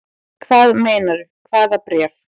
Hvað meinarðu. hvaða bréf?